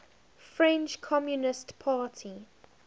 french communist party